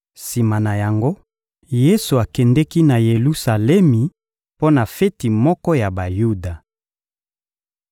Sima na yango, Yesu akendeki na Yelusalemi mpo na feti moko ya Bayuda.